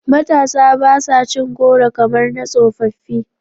Matasa ba sa cin goro kamar na tsofaffi.